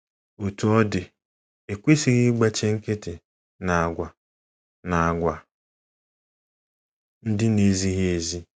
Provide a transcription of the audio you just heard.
Otú ọ dị, e kwesịghị ịgbachi nkịtị n’àgwà n’àgwà ndị na - ezighị ezi.